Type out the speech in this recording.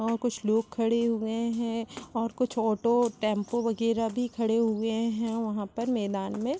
और कुछ लोग खड़े हुए है और कुछ ऑटो टेम्पो वग़ैरा भी खड़े हुए है। वहां पर मैदान में--